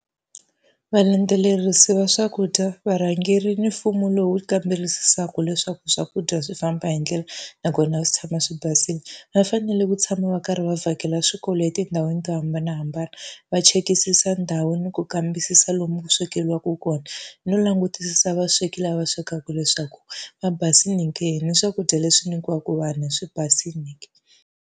Valandzelerisi va swakudya, varhangeri ni mfumo lowu kamberisisaka leswaku swakudya swi famba hi ndlela nakona swi tshama swi basile, va fanele ku tshama va karhi va vhakela swikolo etindhawini ta hambanahambana. Va chekisisa ndhawu ni ku kambisisa lomu ku swekeriwaka kona no langutisa vasweki lava swekaka leswaku va basile ke ni swakudya leswi nyikiwaka vana swi basile ke.